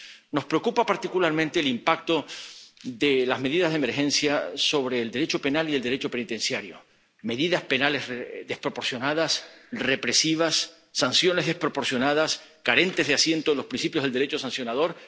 Nos preocupa particularmente el impacto de las medidas de emergencia sobre el Derecho penal y el Derecho penitenciario medidas penales desproporcionadas, represivas, sanciones desproporcionadas, carentes de asiento en los principios del Derecho sancionador